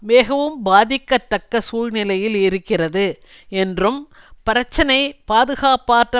மிகவும் பாதிக்கத்தக்க சூழ்நிலையில் இருக்கிறது என்றும் பிரச்சினை பாதுகாப்பற்ற